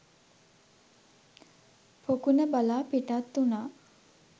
පොකුණ බලා පිටත් වුනා.